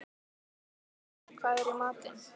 Sveinbjartur, hvað er í matinn?